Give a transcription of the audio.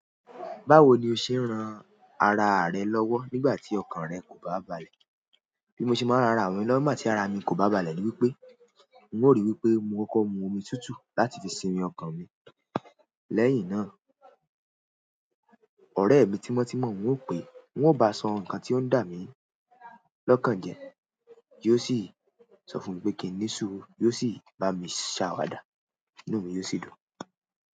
Báwo ni o ṣe ń ran ara rẹ lọ́wọ́ nígbà tí ọkàn rẹ kò bá balẹ̀? Bí mo ṣe máa ń ran ara mi lọwọ nigbatí ara mi kò bá balẹ̀ ni wípé, n ó rí wípé mo kọ́kọ́ mu omi tútù láti fi sinmi ọkàn mi. Lẹ́yìn náà, ọ̀rẹ́ mi tímọ́ tímọ́, n ó pè, n ó bá sọ nǹkan tí ó ń dà mí lọ́kàn jẹ, yóò sì sọ fún mi pé kí n ní suuru, yóò sì bá mi ṣàwàdà, inú mi yóò sì dùn.